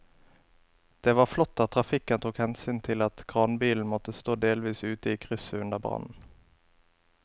Det var flott at trafikken tok hensyn til at kranbilen måtte stå delvis ute i krysset under brannen.